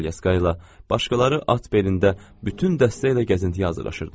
Bəziləri kolyaskayla, başqaları at belində bütün dəstə ilə gəzintiyə hazırlaşırdılar.